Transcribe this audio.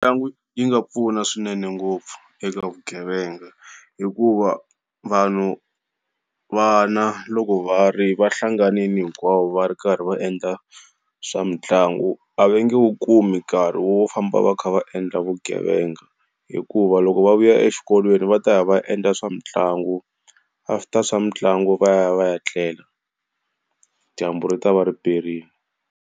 Mitlangu yi nga pfuna swinene ngopfu eka vugevenga, hikuva vanhu vana loko va ri va hlanganile hinkwavo va ri karhi va endla swa mitlangu a va nge wu kumi nkarhi wo famba va kha va endla vugevenga, hikuva loko va vuya exikolweni va ta ya va endla swa mitlangu after swa mitlangu va ya va ya tlela, dyambu ri ta va ri perile.